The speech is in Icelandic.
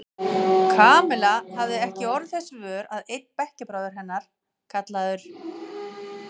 Kamilla hafði ekki orðið þess vör að einn bekkjarbróðir hennar, kallaður